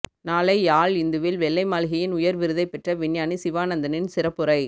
நாளை யாழ் இந்துவில் வெள்ளை மாளிகையின் உயர்விருதைப் பெற்ற விஞ்ஞானி சிவானந்தனின் சிறப்புரை